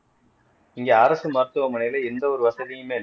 இங்கே அரசு மருத்துவமனையிலே எந்த ஒரு வசதியுமே